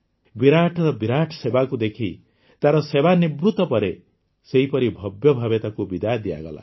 ବିରାଟର ବିରାଟ ସେବାକୁ ଦେଖି ତାର ସେବାନିବୃତ ପରେ ସେହିପରି ଭବ୍ୟ ଭାବେ ତାକୁ ବିଦାୟ ଦିଆଗଲା